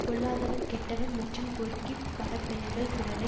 பொல்லாதவன் கெட்டவன் மற்றும் பொறுக்கி பட பெயர்கள் பிறரை